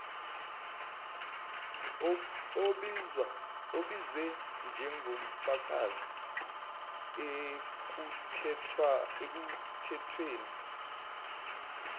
obizwe njengofakazi ekuthethweni